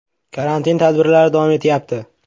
“Karantin tadbirlari davom etyapti.